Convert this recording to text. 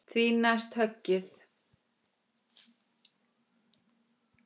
Því næst höggið.